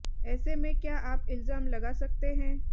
ऐसे में क्या आप इल्जाम लगा सकते हैं